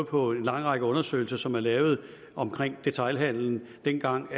på en lang række undersøgelser som er lavet om detailhandelen dengang